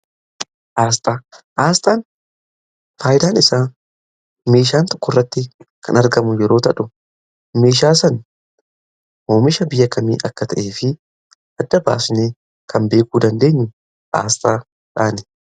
Aasxaa: aasxaan faayidaan isaa meeshaan tokkorratti kan argamu yeroo ta'u. Meeshaa sana oomisha biyya kamii akka ta'ee fi adda baasnee kan beekuu dandeenyu aasxaadhaani.